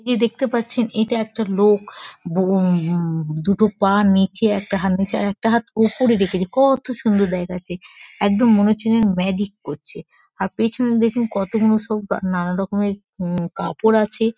এই যে দেখতে পাচ্ছেন এটা একটা লোক। বো উ-ম-ম দুটো পা নীচে একটা হাত নীচে আর একটা হাত ওপরে রেখেছে কত সুন্দর দেখাচ্ছে একদম মনে হচ্ছে যেন ম্যাজিক করছে আর পেছনে দেখুন কতগুলো সব নানারকমের উম কাপড় আছে।